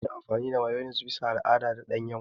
Ana yin Mayones bisa ga al'ada da ɗanyen ƙwai.